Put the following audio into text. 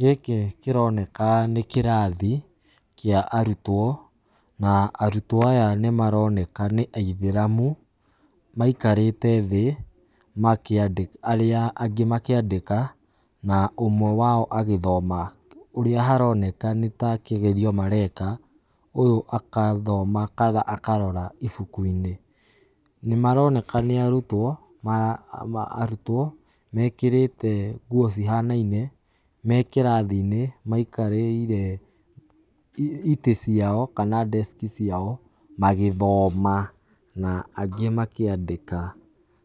Gĩkĩ kĩroneka nĩ kĩrathi, kĩa arutwo ,na arutwo aya nĩ maronekana nĩ aithĩramu, maikarĩte thĩ makĩandĩka arĩa angĩ makĩandĩka, na ũmwe wao agĩthoma, ũrĩa haroneka nĩ ta kĩgerio mareka, ũyũ agathoma akarora ibuku-inĩ , nĩ maroneka nĩ arutwo mekĩrĩrĩte nguo cihanaine, me kĩrathi-inĩ maikarĩire ĩtĩ ciao kana desk ciao, magĩthoma na angĩ makĩandĩka,